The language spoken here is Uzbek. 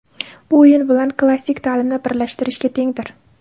Bu o‘yin bilan klassik ta’limni birlashtirishga tengdir.